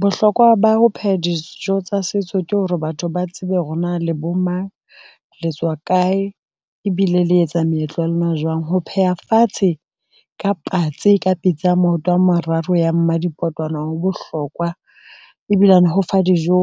Bohlokwa ba ho pheha dijo tsa setso ke hore batho ba tsebe hore na le bo mang, le tswa kae ebile le etsa meetlo ya lona jwang? Ho pheha fatshe ka patsi ka pitsa ya maoto a mararo ya mmadikotwana, ho bohlokwa ebilane ho fa dijo,